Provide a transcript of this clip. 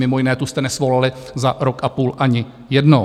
Mimo jiné, tu jste nesvolali za rok a půl ani jednou.